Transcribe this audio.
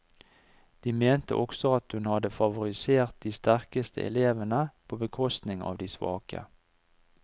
De mente også at hun hadde favorisert de sterkeste elevene på bekostning av de svake.